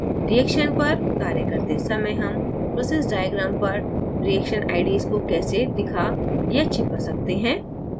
reaction पर कार्य करते समय हम process diagram पर reaction ids को कैसे दिखा/छिपा सकते हैं